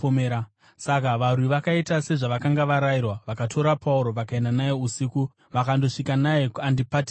Saka varwi vakaita sezvavakanga varayirwa, vakatora Pauro vakaenda naye usiku vakandosvika naye kuAndipatirisi.